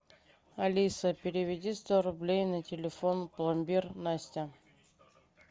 алиса переведи сто рублей на телефон пломбир настя